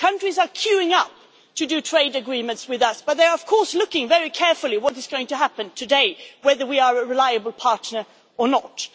Countries are queuing up to make trade agreements with us but they are, of course, looking very carefully at what is going to happen today, whether we are a reliable partner or not.